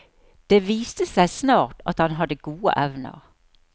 Det viste seg snart at han hadde gode evner.